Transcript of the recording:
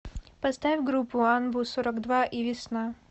поставь группу анбу сорок два и весна